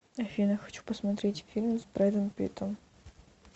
афина хочу посмотреть фильм с брэдом питтом